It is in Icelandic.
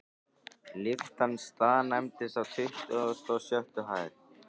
Lyftan staðnæmdist á tuttugustu og sjöttu hæð.